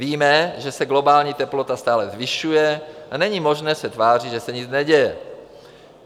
Víme, že se globální teplota stále zvyšuje a není možné se tvářit, že se nic neděje.